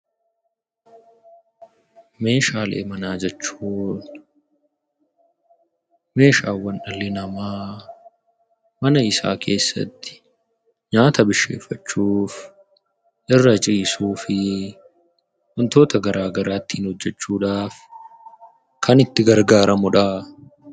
Meeshaalee manaa jechuun meeshaawwan dhalli namaa mana isaa keessatti nyaata bisheeffachuuf, irra ciisuu fi wantoota garaagaraa ittiin hojjechuudhaaf kan itti gargaaramuu dha.